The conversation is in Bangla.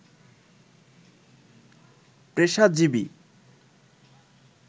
পেশাজীবী